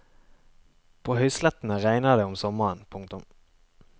På høyslettene regner det om sommeren. punktum